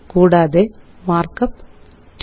കൂടാതെ മാര്ക്കപ്പ് 2